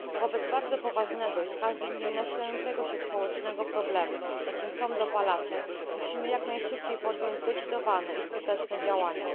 Wobec bardzo poważnego i z każdym dniem nasilającego się społecznego problemu, jakim są dopalacze, musimy jak najszybciej podjąć zdecydowane i skuteczne działania.